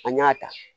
An y'a ta